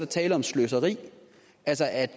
tale om sløseri altså at